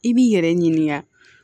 I b'i yɛrɛ ɲininka